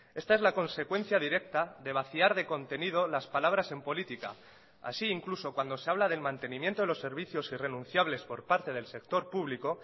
esta es la consecuencia directa de vaciar de contenido las palabras en política así incluso cuando se habla del mantenimiento de los servicios irrenunciables por parte del sector público